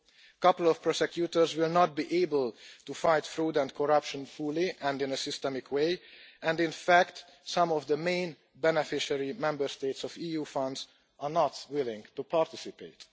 A couple of prosecutors will not be able to fight fraud and corruption fully and in a systematic way, and in fact some of the main beneficiary Member States of EU funds are not willing to participate.